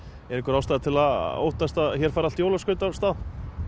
er einhver ástæða til að óttast að hér fari allt jólaskraut af stað